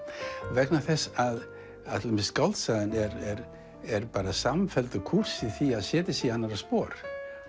vegna þess að til dæmis skáldsagan er er bara samfelldur kúrs í því að setja sig í annarra spor